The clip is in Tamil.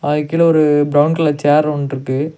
அதுக்கு கீழ ஒரு பிரவுன் கலர் சேர் ஒன்னுருக்கு.